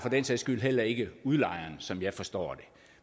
den sags skyld heller ikke udlejeren som jeg forstår det